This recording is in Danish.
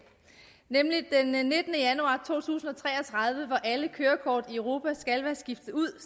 nemlig den nittende januar to tusind og tre og tredive hvor alle kørekort i europa skal være skiftet ud